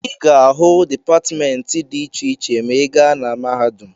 Ị ga-ahụ dipatịmentị dị iche iche ma ị gaa na mahadum.